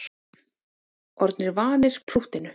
Orðnir vanir prúttinu